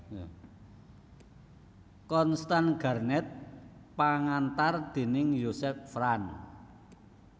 Constance Garnett pangantar déning Joseph Frank